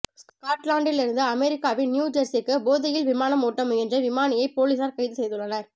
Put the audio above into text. ஸ்காட்லாந்திலிருந்து அமெரிக்காவின் நியூ ஜெர்ஸிக்கு போதையில் விமானம் ஓட்ட முயன்ற விமானியை பொலிசார் கைது செய்துள்ளனர்